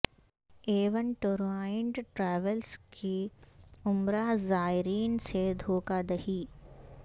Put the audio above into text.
اے one tour and travels کی عمرہ زائرین سے دھوکہ دہی